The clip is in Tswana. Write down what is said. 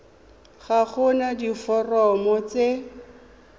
ga go na diforomo tse